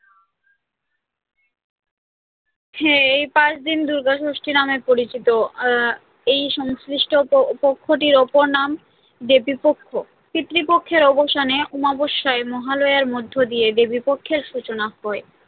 হ্যাঁ এই পাঁচ দিন দুর্গা ষষ্ঠী নামে পরিচিত, আহ এই সংশ্লিষ্ট পক্ষটির অপর নাম হল দেবীপক্ষ, পিতৃপক্ষের অবসানে অমাবস্যায় মহালয়ার মধ্যে দিয়ে দেবীপক্ষের সূচনা হয়,